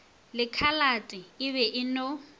lekhalate e be e no